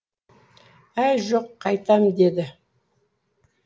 әй жоқ қайтам деді